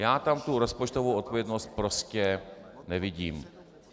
Já tam tu rozpočtovou odpovědnost prostě nevidím.